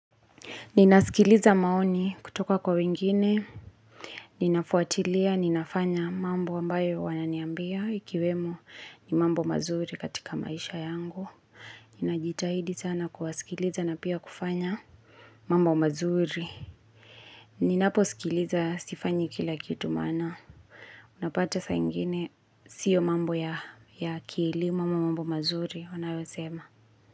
Ninasikiliza maoni kutoka kwa wengine, ninafuatilia, ninafanya mambo ambayo wananiambia, ikiwemo ni mambo mazuri katika maisha yangu. Ninajitahidi sana kuwasikiliza na pia kufanya mambo mazuri. Ninapo sikiliza, sifanyi kila kitu maana. Unapata saaingine, siyo mambo ya akili, mambo mambo mazuri, wanayosema.